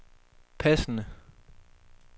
passende